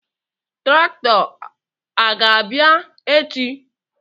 Traktọ a ọ ga-abịa echi?